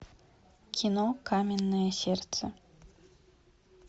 кино каменное сердце